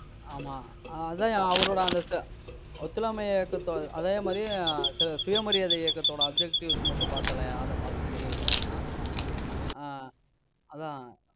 ஆமா. அஹ் அதான்யா, அவரோட அந்த து~ ஒத்துழையாமை இயக்கத்தோட அதே மாதிரி அஹ் சு~ சுயமரியாதை இயக்கத்தோட objectives மட்டும் பாத்திடலாம்யா ஆஹ் அத பாத்துட்டு மட்டும் இது பண்ணலாம் ஆஹ் அதான்